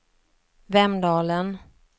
Vemdalen